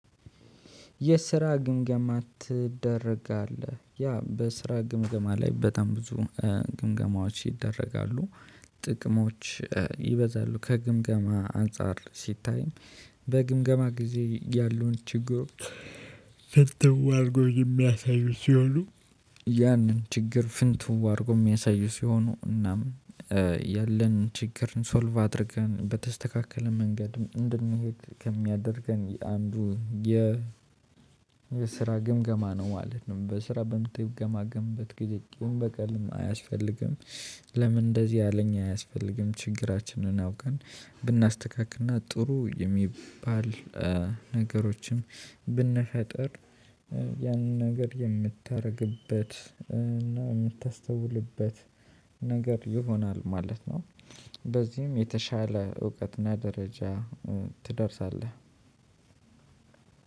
የስራ ግምገማ ትደረጋለህ ያ በስራ ግምገማ ላይ በጣም ብዙ ግምገማዎች ይደረጋሉ። ጥቅሞች ይበዛሉ ከግምገማ አንፃር ሲታይም። በግምገማ ጊዜ ያሉን ችግሩ ፍንትው አድርጎ የሚያሳዩት ሲሆኑ። ያንን ችግር ፍንትው አድርጎ የሚያሳዩ ሲሆኑ እናም ያለን ችግርን ሶልቭ አድርገን በተስተካከለ መንገድ እንድንሄድ ከሚያደርገን አንዱ የ ስራ ግምገማ ነው ማለት ነው። በስራ በምትገማገምበት ግዜ ቂም በቀልም አያስፈልግም። ለምን እንደዚህ ያለኝ አያስፈልግም ችግራችንን አውቀን ብናስተካክልና ጥሩ የሚባል ነገሮችን ብንፈጥር። ያንን ነገር የምታደርግበት እና የምታስተውልበት ነገር ይሆናል ማለት ነው። በዚህም የተሻለ እውቀትና ደረጃ ትደርሳለህ።